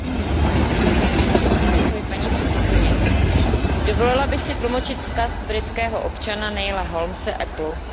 Paní předsedající, dovolila bych si tlumočit vzkaz britského občana Neila Holmese Applu, se kterým se zcela ztotožňuji.